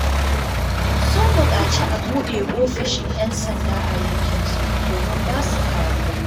Sun buƙaci a buɗe ofishin 'yan sanda a yankinsu domin ba su kariya.